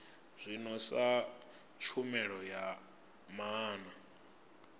zwino sa tshumelo ya maana